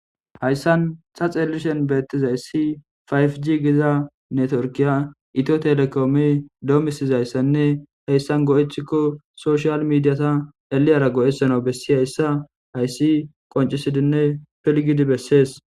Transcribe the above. Hayssan xaxelishen beettizayssi fayf jigizanne torkiya ito telekoomi doomisizayssanne heyssan go7ethikko soshiyal midiyata eliyara go7esano bessi heyssa hayssi qoncisidinne pilgidi bessees.